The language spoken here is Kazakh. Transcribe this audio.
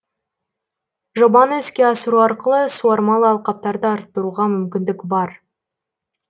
жобаны іске асыру арқылы суармалы алқаптарды арттыруға мүмкіндік бар